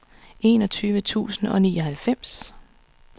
enogtyve tusind og nioghalvfems